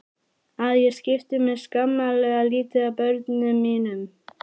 Að ég skipti mér skammarlega lítið af börnum mínum.